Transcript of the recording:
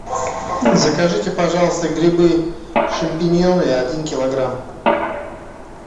закажите пожалуйста грибы шампиньоны один килограмм